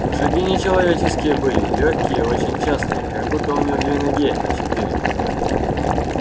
но шаги не человеческие были лёгкие и очень частые как будто у него не две ноги а четыре